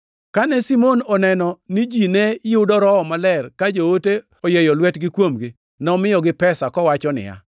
Kane Simon oneno ni ji ne yudo Roho Maler ka joote oyieyo lwetgi kuomgi, nomiyogi pesa kowacho niya,